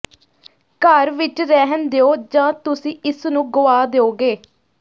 ਘਰ ਵਿਚ ਰਹਿਣ ਦਿਓ ਜਾਂ ਤੁਸੀਂ ਇਸ ਨੂੰ ਗੁਆ ਦਿਓਗੇ